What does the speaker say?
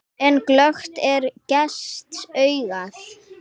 En glöggt er gests augað.